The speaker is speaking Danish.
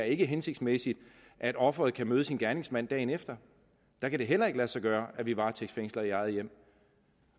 ikke er hensigtsmæssigt at offeret kan møde sin gerningsmand dagen efter der kan det heller ikke lade sig gøre at vi varetægtsfængsler i eget hjem